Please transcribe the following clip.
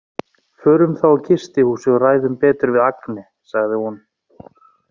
Förum þá á gistihúsið og ræðum betur við Agne, sagði hún.